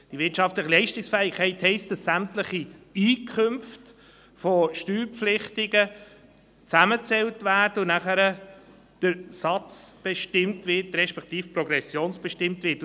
Die wirtschaftliche Leistungsfähigkeit heisst, dass sämtliche Einkünfte von Steuerpflichtigen zusammengezählt werden und nachher der Satz, respektive die Progression, bestimmt wird.